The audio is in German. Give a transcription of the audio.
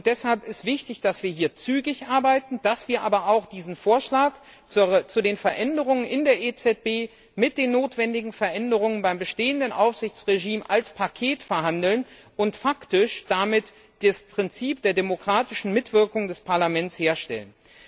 Deshalb ist es wichtig, dass wir zügig arbeiten, dass wir aber auch diesen Vorschlag zu den Veränderungen in der EZB mit den notwendigen Veränderungen beim bestehenden Aufsichtsregime als Paket verhandeln und faktisch damit das Prinzip der demokratischen Mitwirkung des Parlaments sicherstellen.